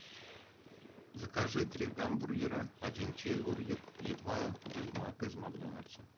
закажи три гамбургера один чизбургер и два биг мака из макдональдса